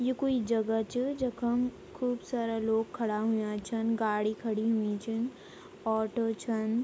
यु कुई जगह च जखम खूब सारा लोग खड़ा हुयां छन गाडी कड़ी हुई छिन ऑटो छन ।